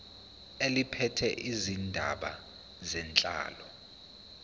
eliphethe izindaba zenhlalo